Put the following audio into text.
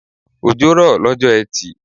Òjò rọ lọ́jọ́ etì